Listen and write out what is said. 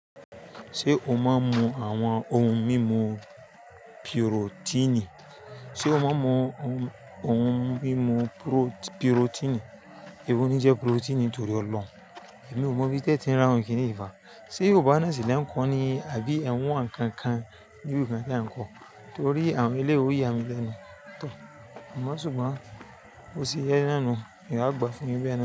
Ṣé o máa ń mu àwọn ohun mímu pirotíìnì? Sé o máa ń mu ohun mímu pirotíìnì? Èwo ni jẹ pirotíìnì torí ọlọ́run. Èmi ò mọ̀ bí téè tí ń rà wọ́n kíní ní fá. Sé yò bá sile ń kọ́ ni? Àbí ẹ̀ wọ́n nkankan ni ibi ikan ten kọ́? Torí àwọn eléyìí oyamì lẹ́nu, tor. Àmọ́ ṣùgbọ́n bó ṣe jẹ náà nu, eyaan a gbà fún yín bẹ náà ni.